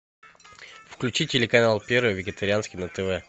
включи телеканал первый вегетарианский на тв